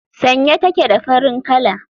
Sanye take da farin kala.